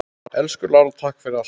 Elsku Lára, takk fyrir allt.